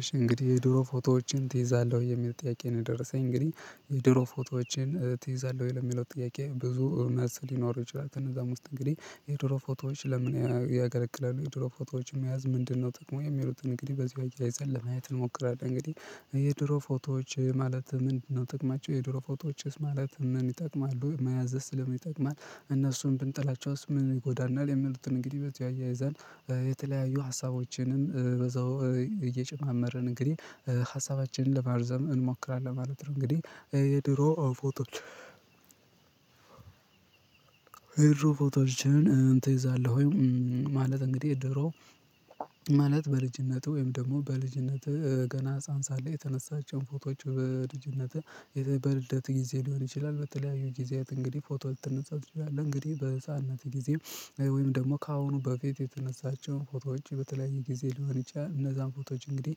እሺ እንግዲህ፣ የድሮ ፎቶዎችን ትይዛለህ ወይ? የሚል ጥያቄ ነው የደረሰኝ። እንግዲህ የድሮ ፎቶዎችን ትይዛለህ ወይ? ለሚለው ጥያቄ ብዙ መሰል ሊኖር ይችላሉ። እንደዛም ውስጥ እንግዲህ የድሮ ፎቶዎች ለምን ያገለግላሉ? የድሮ ፎቶች መያዝ ምንድነው ጥቅሙ? የሚሉትን እንግዲህ በዚህ አያይዘን ለማየት እንሞክራለን። እንግዲህ የድሮ ፎቶዎች ማለት ምንድነው ጥቅማቸው? የድሮ ፎቶዎችስ ምን ይጠቅማሉ? መያዝስ ስለሚጠቅማል? እነሱን ብንጥላቸው ምን ይጎዳናል? የሚሉትን እንግዲህ በዚህ አያይዘን የተለያዩ ሀሳቦችንም በዛው እየጨማመርን እንግዲህ ሀሳባችንን ለማርዘም እንሞክራለን ማለት ነው። እንግዲህ የድሮ ፎቶች የድሮ ፎቶዎችን ትይዛለሁ ወይ? ማለት እንግዲህ ድሮ ማለት በልጅነቱ ወይም ደግሞ በልጅነት ገና ህፃን ሳለህ የተነሳቸውን ፎቶዎች፣ በልጅነት በልደትህ ጊዜ ሊሆን ይችላል፣ በተለያዩ ጊዜያት እንግዲህ ፎቶ ልትነሳት ትችላለህ። እንግዲህ በህፃንነት ጊዜ ወይም ደግሞ ከአሁኑ በፊት የተነሳቸውን ፎቶዎች በተለያየ ጊዜ ሊሆን ይችላል፤ እነዛን ፎቶዎች እንግዲህ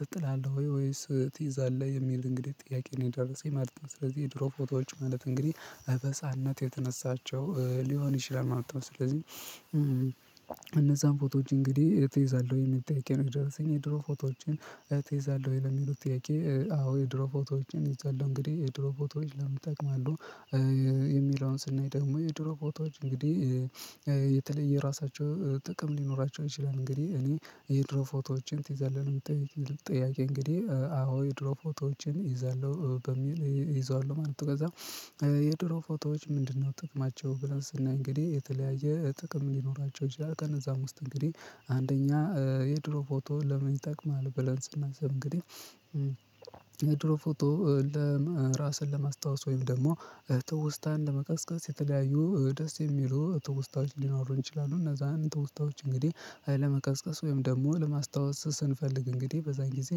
ትጥላለህ ወይስ ትይዛለህ? የሚል እንግዲህ ጥያቄ ነው የደረሰኝ ማለት ነው። ስለዚህ የድሮ ፎቶዎች ማለት እንግዲህ በህፃንነት የተነሳቸው ሊሆን ይችላል ማለት ነው። ስለዚህ እነዛን ፎቶዎች እንግዲህ ትይዛለህ ወይ የሚል ጥያቄ ነው የደረሰኝ። የድሮ ፎቶዎችን ትይዛለህ ወይ? ለሚሉት ጥያቄ አዎ። የድሮ ፎቶዎችን ይዛለሁ። እንግዲህ የድሮ ፎቶዎች ለምን ይጠቅማሉ? የሚለውን ስናይ ደግሞ፣ የድሮ ፎቶዎች እንግዲህ የተለየ ራሳቸው ጥቅም ሊኖራቸው ይችላል። እንግዲህ እኔ የድሮ ፎቶዎችን ትይዛለህ ነው የሚል ጥያቄ እንግዲህ አዎ። የድሮ ፎቶዎችን እይዛለሁ በሚል፣ እይዛለሁ ማለት ነው። ከዛ የድሮ ፎቶዎች ምንድነው ጥቅማቸው? ብለን ስናይ እንግዲህ የተለያየ ጥቅም ሊኖራቸው ይችላል። ከእነዛም ውስጥ እንግዲህ አንደኛ የድሮ ፎቶ ለምን ይጠቅማል ብለን ስናስብ እንግዲህ ድሮ ፎቶ ለም፣ ራስን ለማስታወስ ወይም ደግሞ ትውስታን ለመቀስቀስ የተለያዩ፣ ደስ የሚሉ ትውስታዎች ሊኖሩ ይችላሉ፤ እነዛን ትውስታዎች እንግዲህ ለመቀስቀስ ወይም ደግሞ ለማስታወስ ስንፈልግ፤ እንግዲህ በዛን ጊዜ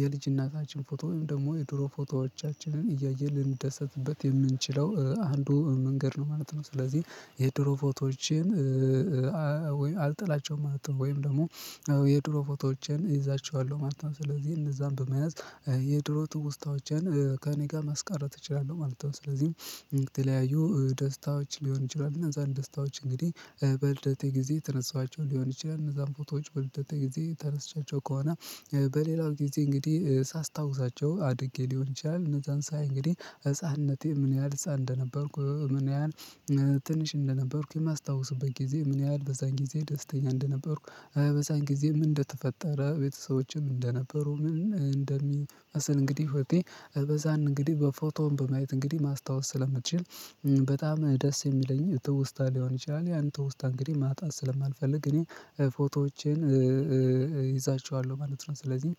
የልጅነታችን ፎቶ ወይም ደግሞ የድሮ ፎቶዎቻችንን እያየን ልንደሰትበት የምንችለው አንዱ መንገድ ነው ማለት ነው። ስለዚህ የድሮ ፎቶዎችን አልጥላቸውም ማለት ነው። ወይም ደግሞ የድሮ ፎቶዎችን እይዛችኋለሁ ማለት ነው። ስለዚህ እነዛን በመያዝ የድሮ ትውስታዎችን ከእኔ ጋር ማስቀረት እችላለሁ ማለት ነው። ስለዚህ የተለያዩ ደስታዎች ሊሆን ይችላል፤ እነዛን ደስታዎች እንግዲህ በልደቴ ጊዜ የተነሳኋቸው ሊሆን ይችላል። እነዛን ፎቶዎች በልደቴ ጊዜ ተነስቻቸው ከሆነ በሌላው ጊዜ እንግዲህ ሳስታውሳቸው አድጌ ሊሆን ይችላል እነዛን ሳይ እንግዲህ ህፃንነቴ፣ ምን ያህል ህፃን እንደነበርኩ ምን ያህል ትንሽ እንደነበርኩ የማስታውስበት ጊዜ ምን ያህል በዛን ጊዜ ደስተኛ እንደነበርኩ በዛን ጊዜ ምን እንደተፈጠረ፣ ቤተሰቦችም እንደነበሩ፣ ምን እንደሚመስል እንግዲህ ህይወቴ እነዛን እንግዲህ በፎቶም በማየት እንግዲህ ማስታወስ ስለምትችል በጣም ደስ የሚለኝ ትውስታ ሊሆን ይችላል። ያን ትውስታ እንግዲህ ማጣት ስለማንፈልግ እኔ ፎቶዎቼን እይዛቸዋለሁ ማለት ነው። ስለዚህ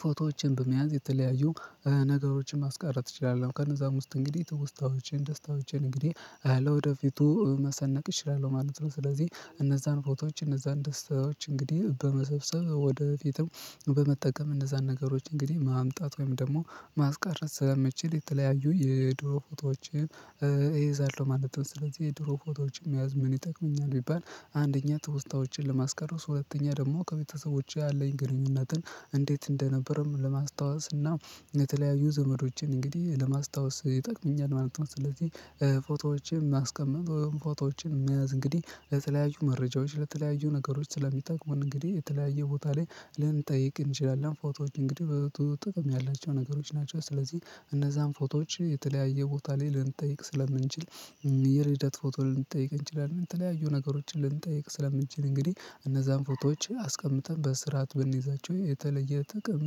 ፎቶዎችን በመያዝ የተለያዩ ነገሮችን ማስቀረት እችላለሁ። ከነዛም ውስጥ እንግዲህ ትውስታዎችን፤ ደስታዎችን እንግዲህ ለወደፊቱ መሰነቅ እችላለሁ ማለት ነው። ስለዚህ እነዛን ፎቶዎች፤ እነዛን ደስታዎች እንግዲህ በመሰብሰብ ወደፊትም በመጠቀም እነዛን ነገሮች እንግዲህ ማምጣት ወይም ደግሞ ማስቀረት ስለመችል የተለያዩ የድሮ ፎቶዎችን እይዛለሁ ማለት ነው። ስለዚህ የድሮ ፎቶዎችን መያዝ ምን ይጠቅመኛል? ቢባል አንደኛ ትውስታዎችን ለማስቀረት። ሁለተኛ ደግሞ ከቤተሰቦቼ ያለኝ ግንኙነትን እንዴት እንደነበርም ለማስታወስ እና የተለያዩ ዘመዶችን እንግዲህ ለማስታወስ ይጠቅመኛል ማለት ነው። ስለዚህ ፎቶዎችን ማስቀመጥ ወይም ፎቶዎችን መያዝ እንግዲህ ለተለያዩ መረጃዎች ለተለያዩ ነገሮች ስለሚጠቅሙን እንግዲህ የተለያየ ቦታ ላይ ልንጠይቅ እንችላለን። ፎቶዎች እንግዲህ ጥቅም ያላቸው ነገሮች ናቸው። ስለዚህ እነዛን ፎቶዎች የተለያየ ቦታ ላይ ልንጠይቅ ስለምንችል የልደት ፎቶ ልንጠየቅ እንችላለን የተለያዩ ነገሮችን ልንጠየቅ ስለምንችል እንግዲህ እነዛን ፎቶዎች አስቀምጠን በስርዓት ብንይዛቸው የተለየ ጥቅም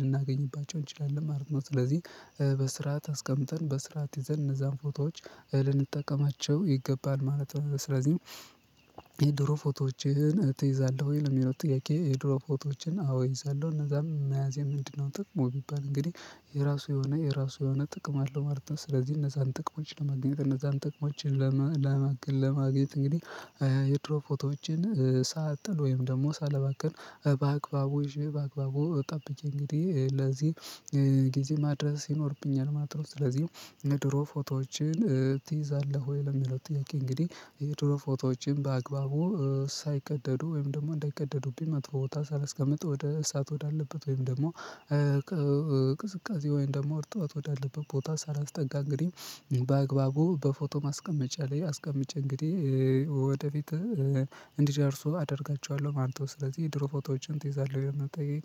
ልናገኝባቸው እንችላለን ማለት ነው። ስለዚህ በስርዓት አስቀምጠን፣ በስርዓት ይዘን እነዛን ፎቶዎች ልንጠቀማቸው ይገባል ማለት ነው። ስለዚህ የድሮ ፎቶዎችን ትይዛለህ ወይ ለሚለው ጥያቄ የድሮ ፎቶዎችን አዎ ይዛለሁ። እነዛም መያዘ ምንድነው ጥቅሙ? ቢባል እንግዲህ የራሱ የሆነ፤ የራሱ የሆነ ጥቅም አለው ማለት ነው። ስለዚህ እነዛን ጥቅሞችን ለማግኘት፣ እነዛን ጥቅሞችን ለማግኘት እንግዲህ የድሮ ፎቶዎችን ሳልጥል ወይም ደግሞ ሳልባከን በአግባቡ ጠብቄ እንግዲህ ለዚህ ጊዜ ማድረስ ይኖርብኛል ማለት ነው። ስለዚህ የድሮ ፎቶዎችን ትይዛለሁ ወይ? ለሚለው ጥያቄ እንግዲህ የድሮ ፎቶዎችን በአግባቡ ሳይቀደዱ ወይም ደግሞ እንዳይቀደዱብኝ፣ መጥፎ ቦታ ሳልስቀምጥ፣ ወደ ኢሳት ወዳለበት ወይም ደግሞ ቅዝቃዜ ወይም ደግሞ አርጥበት ወዳለበት ቦታ ሳላስጠጋ እንግዲህ በአግባቡ በፎቶ ማስቀመጫ ላይ አስቀምጬ እንግዲህ ወደፊት እንዲደርሱ አደርጋቸዋለሁ ማለት ነው። ስለዚህ የድሮ ፎቶዎችን ትይዛለህ የሚለው ጥያቄ